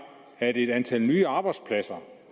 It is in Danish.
et antal nye arbejdspladser